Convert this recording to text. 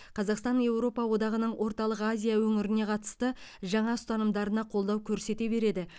қазақстан еуропа одағының орталық азия өңіріне қатысты жаңа ұстанымдарына қолдау көрсете береді